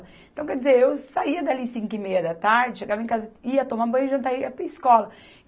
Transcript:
Então, quer dizer, eu saía dali cinco e meia da tarde, chegava em casa, ia tomar banho, jantar e ia para a escola.